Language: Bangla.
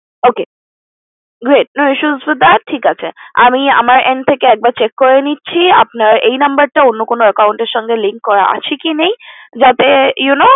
Ok great no issues with that ঠিক আছে আমি আমার end থেকে একবার check করে নিচ্ছি আপনার এই number টা অন্য কোনো account এর সাথে link করা আছে কি নেই যাতে you know